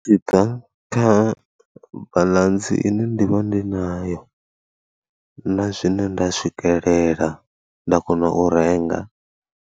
Zwi bva kha baḽantsi ine ndi vha ndi nayo na zwine nda swikelela nda kona u renga.